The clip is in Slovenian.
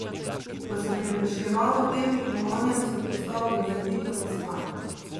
Ko sem premišljeval o tem in onem, sem postal grozovito zaspan.